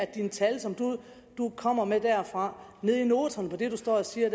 de tal som du kommer med derfra nede i noterne på det du står og siger